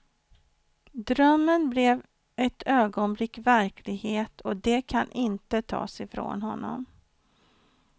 Drömmen blev ett ögonblick verklighet, och det kan inte tas i från honom.